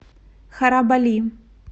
харабали